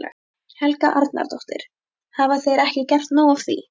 Helga Arnardóttir: Hafa þeir ekki gert nóg af því?